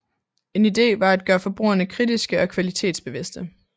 En idé var at gøre forbrugerne kritiske og kvalitetsbevidste